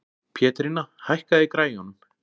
Pétrína, hækkaðu í græjunum.